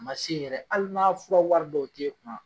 A ma se yɛrɛ hali n'a fɔ wari dɔw te kun na